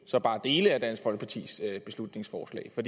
så bare dele af dansk folkepartis beslutningsforslag for